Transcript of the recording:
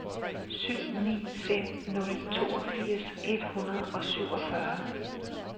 syv ni fem nul toogfirs et hundrede og syvogfyrre